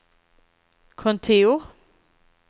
kontor